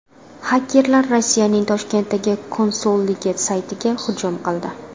Xakerlar Rossiyaning Toshkentdagi konsulligi saytiga hujum qildi.